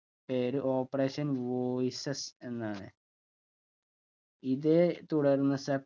പേര് operation voices എന്നാണ് ഇതേ തുടർന്ന് സെപ്